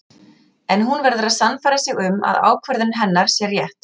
En hún verður að sannfæra sig um að ákvörðun hennar sé rétt.